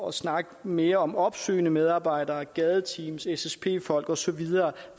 og snakke mere om opsøgende medarbejdere gadeteams ssp folk osv og